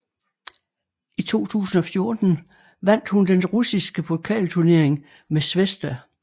I 2014 vandt hun den russiske pokalturnering med Svesda